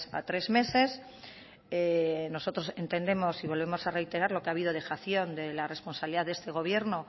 a tres meses nosotros entendemos y volvemos a reiterar lo que habido dejación de la responsabilidad de este gobierno